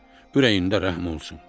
Ürəyində rəhm olsun.